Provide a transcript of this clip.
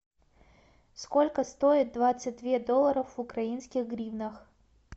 сколько стоит двадцать две долларов в украинских гривнах